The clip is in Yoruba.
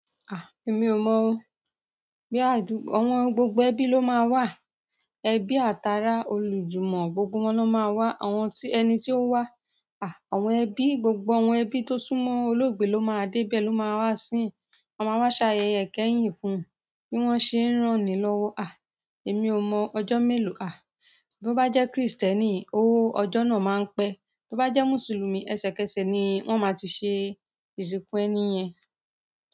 Èmi ò mọ̀ o. Bí àdúgbò, àwọn gbogbo ẹbí ló máa wà. Ẹbí, àtara, olùjùmọ̀, gbogbo wọn ló máa wà, ẹni tí ó wà, àwọn ẹbí, gbogbo àwọn ẹbí tó súnmọ́ olóògbé ló máa dé ibẹ̀ ló máa wá sín. Wọn máa wá ṣáayẹ̀yẹ ikẹ́yìn fún un bí wọ́n ṣe ń rán ni lọ́wọ́. À, èmi ò mọ̀ ọjọ́ mélòó à. Bí ó bá jẹ́ Kristẹni, ọjọ́ náà máa ń pẹ́. Bí ó bá jẹ́ Mùsùlùmí, ẹsẹ̀kẹsẹ̀ ni wọ́n máa ti ṣe ìsìnkú ẹni yẹn.